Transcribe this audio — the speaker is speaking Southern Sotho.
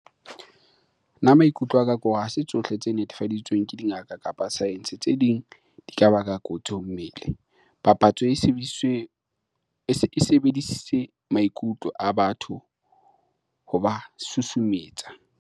Nna maikutlo a ka ke hore ha se tsohle tse netefaditsweng ke dingaka kapa science, tse ding di ka baka kotsi ho mmele. Papatso e sebedisitse maikutlo a batho hoba susumetsa.